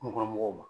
Kungo kɔnɔ mɔgɔw ma